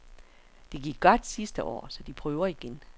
Det gik godt sidste år, så de prøver igen.